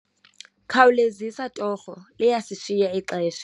Khawulezisa torho, liyasishiya ixesha.